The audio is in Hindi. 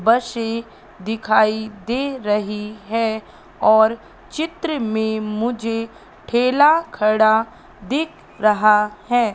बशे दिखाई दे रही हैं और चित्र में मुझे ठेला खड़ा दिख रहा हैं।